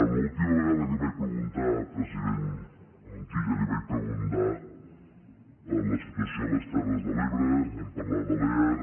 l’última vegada que vaig preguntar president montilla li vaig preguntar per la situació a les terres de l’ebre vam parlar de lear